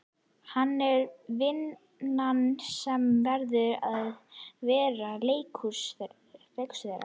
Það er vinn- an sem verður að vera leikhúsið þeirra.